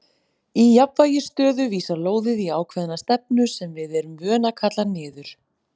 Í jafnvægisstöðu vísar lóðið í ákveðna stefnu sem við erum vön að kalla niður.